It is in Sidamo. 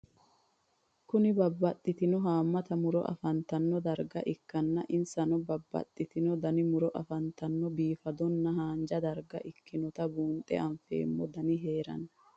Kuni babaxino haamata muro afantano darga ikana insanno babaxino Dani muro afantanonna bifadona hanja darga ikinota bunxe afeemo danni heerano?